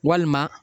Walima